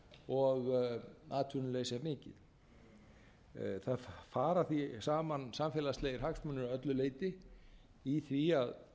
og atvinnuleysi er mikið það fara því saman samfélagslegir hagsmunir að öllu leyti í því að